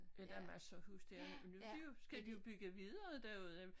Ja der masser af huse dér men det jo skal de jo bygge videre derude